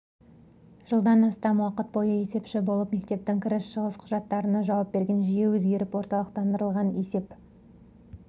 жылдан астам уақыт бойы есепші болып мектептің кіріс-шығыс құжаттарына жауап берген жүйе өзгеріп орталықтандырылған есеп